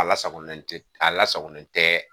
A lasagolen tɛ a lasagolen tɛ